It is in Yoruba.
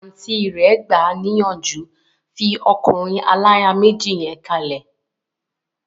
Àùntí rẹ̀ gbà níyànjú, 'fi ọkùnrin aláya méjì yẹn kalẹ̀'